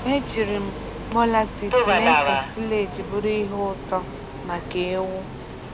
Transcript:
Ejiri m molasses mee ka silage bụrụ ihe ụtọ maka ewú.